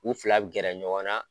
U filabi gɛrɛ ɲɔgɔn na.